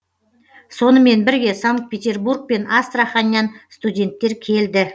сонымен бірге санкт петербург пен астраханьнан студенттер келді